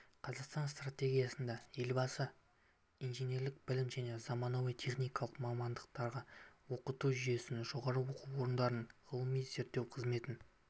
қазақстан стратегиясында елбасы инженерлік білім мен заманауи техникалық мамандықтарға оқыту жүйесін жоғары оқу орындарының ғылыми-зерттеу қызметін